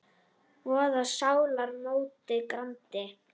voða sálar móti grandi.